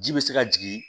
Ji bɛ se ka jigin